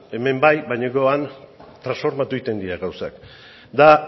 hemen bai baina gero han transformatu egiten dira gauzak eta